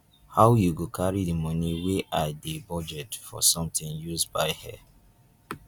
how you go carry the money wey i dey budget for something use buy hair